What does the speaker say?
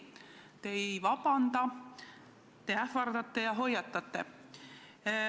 Te ei vabanda, te ähvardate ja hoiatate.